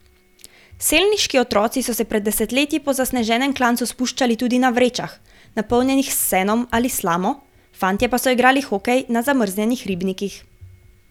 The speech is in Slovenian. Selniški otroci so se pred desetletji po zasneženem klancu spuščali tudi na vrečah, napolnjenih s senom ali slamo, fantje pa so igrali hokej na zamrznjenih ribnikih.